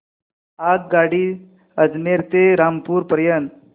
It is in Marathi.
आगगाडी अजमेर ते रामपूर पर्यंत